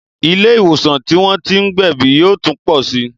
Ilé ìwòsàn tí wọ́n tí ń gbẹ̀bí yóò tún pọ sí